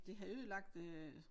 Det har ødelagt øh